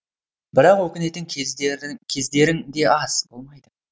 бірақ өкінетін кездерің де аз болмайды